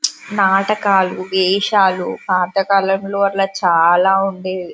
నాటకాలు వేషాలు పాతకాలంలో అట్లా చాలా ఉండేవి.